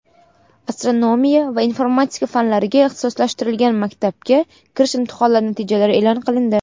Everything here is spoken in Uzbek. astronomiya va informatika fanlariga ixtisoslashtirilgan maktabga kirish imtihonlari natijalari e’lon qilindi.